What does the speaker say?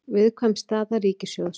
Viðkvæm staða ríkissjóðs